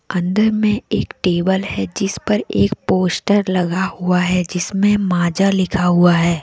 अंदर में एक टेबल है जिस पर एक पोस्टर लगा हुआ है जिस में माजा लिखा हुआ है।